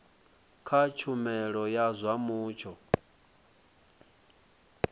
kha tshumelo ya zwa mutsho